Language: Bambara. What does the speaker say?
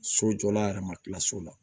So jɔla a yɛrɛ ma kila so la